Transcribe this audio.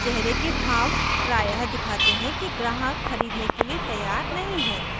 चेहरे के भाव प्रायः दिखाते हैं की ग्राहक खरीदने के लिए तैयार नहीं है